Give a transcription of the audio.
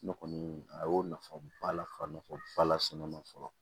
Ne kɔni a y'o nafaba la nafaba lasɔn ne ma fɔlɔ